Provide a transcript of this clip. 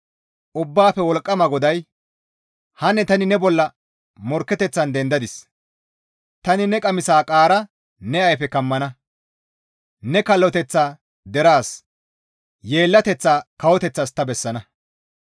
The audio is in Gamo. Ubbaafe Wolqqama GODAY, «Hanne tani ne bolla morkketeththan dendadis; tani ne qamisa qaara ne ayfeso kammana; ne kalloteththaa deraas, yeellateththaa kawoteththatas ta bessana.